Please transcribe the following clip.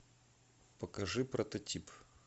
покажи прототип